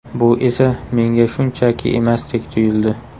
Bu esa menga shunchaki emasdek tuyuldi”.